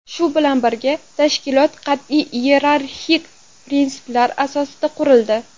Shu bilan birga, tashkilot qat’iy iyerarxik prinsiplar asosiga qurildi.